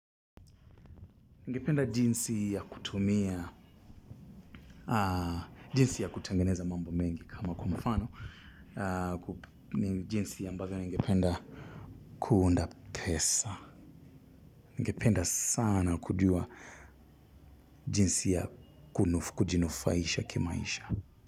Ningependa jinsi ya kutumia, jinsi ya kutengeneza mambo mengi kama kwa mfano, ni jinsi ambavyo ningependa kuunda pesa. Ningependa sana kujua jinsi ya kujinufaisha kimaisha.